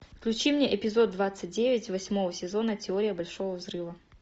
включи мне эпизод двадцать девять восьмого сезона теория большого взрыва